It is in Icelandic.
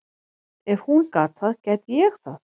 Ef hún gat það, gæti ég það.